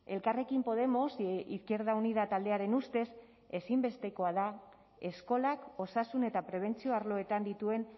elkarrekin podemos izquierda unida taldearen ustez ezinbestekoa da eskolak osasun eta prebentzio arloetan dituen